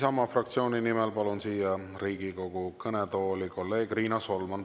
Isamaa fraktsiooni nimel palun siia Riigikogu kõnetooli kolleeg Riina Solmani.